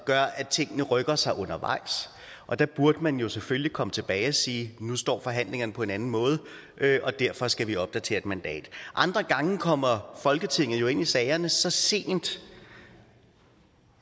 gør at tingene rykker sig undervejs og der burde man jo selvfølgelig komme tilbage og sige nu står forhandlingerne på en anden måde og derfor skal vi opdatere et mandat andre gange kommer folketinget jo ind i sagerne så sent